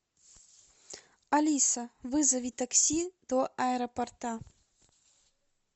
алиса вызови такси до аэропорта